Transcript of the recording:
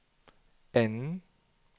anden